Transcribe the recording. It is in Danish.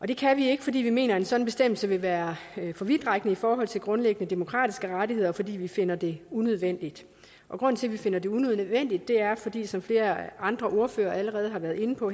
det kan vi ikke fordi vi mener at en sådan bestemmelse vil være for vidtrækkende i forhold til grundlæggende demokratiske rettigheder og fordi vi finder det unødvendigt grunden til at vi finder det unødvendigt er er som flere andre ordførere allerede har været inde på